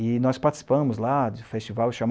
E nós participamos lá de festival